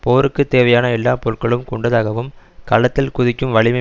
போருக்குத் தேவையான எல்லா பொருள்களும் கொண்டதாகவும் களத்தில் குதிக்கும் வலிமை